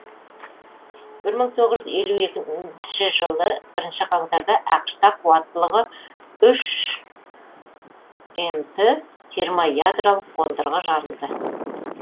бір мың тоғыз жүз елу екінші жылы бірінші қарашада ақш та қуаттылығы үш мт термоядролық қондырғы жарылды